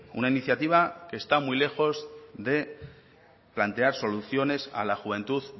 una iniciativa que está muy lejos de plantear soluciones a la juventud